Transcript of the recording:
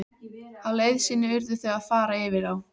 Á leið sinni urðu þau að fara yfir á.